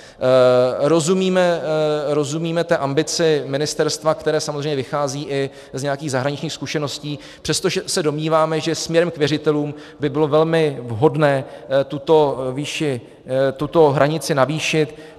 Rozumíme té ambici ministerstva, které samozřejmě vychází i z nějakých zahraničních zkušeností, přestože se domníváme, že směrem k věřitelům by bylo velmi vhodné tuto hranici navýšit.